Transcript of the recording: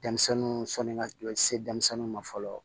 Denmisɛnninw sɔnni ka jɔ se denmisɛnniw ma fɔlɔ